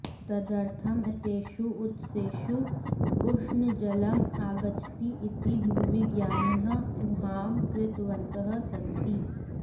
तदर्थं एतेषु उत्सेषु उष्णजलम् आगच्छति इति भूविज्ञानिनः ऊहां कृतवन्तः सन्ति